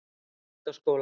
Fjölbrautaskóla